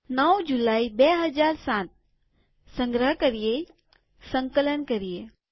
૯ જુલાઈ ૨૦૦૭સંગ્રહ કરીએસંકલન કરીએ